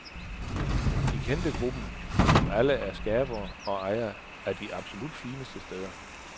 De kendte gruppen, som alle er skabere og ejere af de absolut fineste steder.